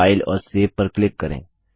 file और save पर click करें